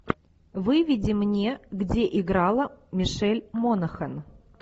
выведи мне где играла мишель монахэн